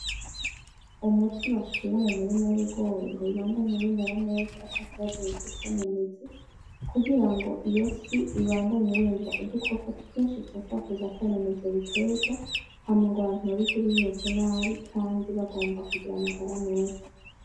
Umuti bashira mu murima w'ibigori ngo bibandanye bimera neza atakibazo bifise mu mizi kugira iyosi Ibandanye irindwa udukoko twinshi twoshobora kuza kwonona ivyo biterwa Hama ngo abantu babirye Bimeze nabi kandi bagomba kugira amagara meza.